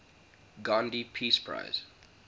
gandhi peace prize